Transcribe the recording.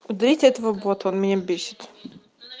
уберите этого бота он меня бесит